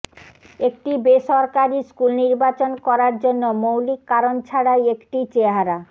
একটি বেসরকারি স্কুল নির্বাচন করার জন্য মৌলিক কারণ ছাড়াই একটি চেহারা